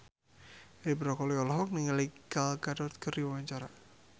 Edi Brokoli olohok ningali Gal Gadot keur diwawancara